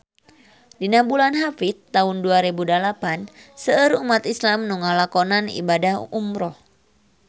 Dina bulan Hapit taun dua rebu dalapan seueur umat islam nu ngalakonan ibadah umrah